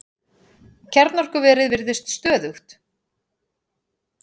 Kjarnorkuverið virðist stöðugt